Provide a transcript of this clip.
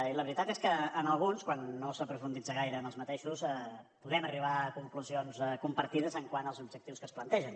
i la veritat és que en alguns quan no s’hi aprofundeix gaire podem arribar a conclusions compartides quant als objectius que es plantegen